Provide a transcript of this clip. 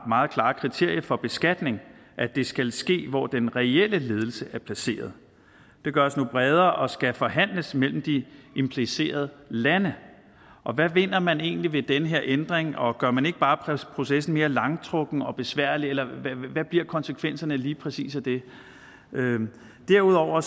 meget klare kriterie for beskatning at det skal ske hvor den reelle ledelse er placeret det gøres nu bredere og skal forhandles mellem de implicerede lande og hvad vinder man egentlig ved den her ændring og gør man ikke bare processen mere langtrukken og besværlig eller hvad bliver konsekvensen lige præcis af det derudover